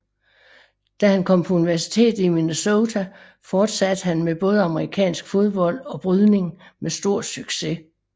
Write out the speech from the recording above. Da han kom på universitetet i Minnesota fortsatte han med både amerikansk fodbold og brydning med stor succes